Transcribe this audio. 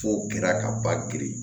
F'o kɛra ka ba giri